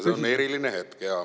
See on eriline hetk.